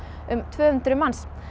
um tvö hundruð manns